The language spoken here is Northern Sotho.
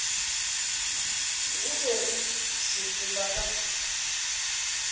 go be re sepela ka